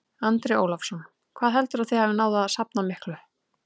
Andri Ólafsson: Hvað heldurðu að þið hafið náð að safna miklu?